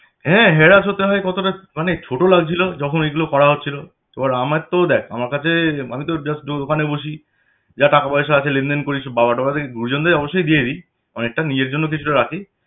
হ্যাঁ harass হতে হয় কতটা মানে ছোট লাগছিল যখন এগুলো করা হচ্ছিল এবার আমার তো দেখ আমার কাছে আমি তোর just দোকানে বসি যা টাকাপয়সা আসে লেনদেন করি সব বাবা-টাবাদের গুরুজনদের অবশ্যই দিয়ে দেই অনেকটা অনকটাই দিয়ে দি তাও নিজের জন্য কিছুটা রাখি